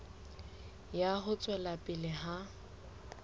ya ho tswela pele ha